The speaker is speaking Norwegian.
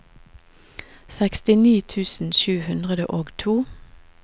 sekstini tusen sju hundre og to